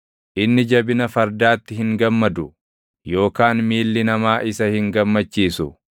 Inni jabina fardaatti hin gammadu; yookaan miilli namaa isa hin gammachiisu;